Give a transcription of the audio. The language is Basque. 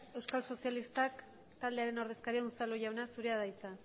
euskal sozialistak taldearen ordezkaria unzalujauna zurea da hitza